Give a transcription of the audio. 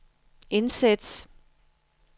indsæt